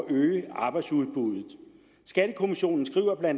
øge arbejdsudbuddet skattekommissionen skriver bla